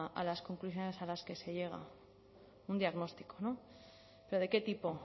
a las conclusiones a las que se llega un diagnóstico pero de qué tipo